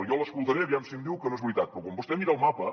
jo l’escoltaré aviam si em diu que no és veritat però quan vostè mira el mapa